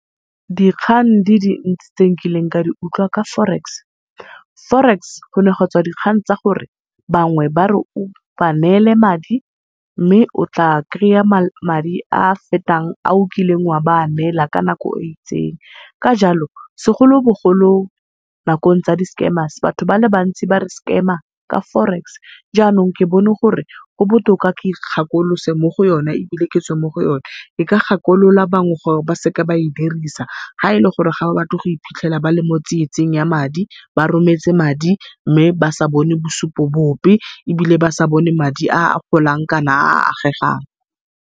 Dikgang di dintsi tse nkileng ka di utlwa ka Forex. Forex gone ga tswa dikgang tsa gore bangwe bare o ba neele madi mme o tla kry-a madi a fetang a o kileng o a ba neela ka nako e itseng. Ka jalo segolobogolo nakong tsa di scammers batho bale bantsi bare scammer ka forex jaanong ke bone gore go botoka gore ke ikgakolose mo go yona ebile ketswe mo go yona. Ke ka gakolosa ba bangwe gore baseka ba e dirisa, ga ele gore ga ba batle go iphitlhela ba le mo tsietsing ya madi ba rometse madi mme ba sa bone bosupo bope, ebile ba sa bone madi a golang kana a a agegang.